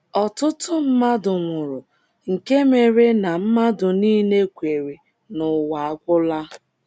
Ọtụtụ mmadụ nwụrụ nke mere na mmadụ nile kweere na ụwa agwụla. ’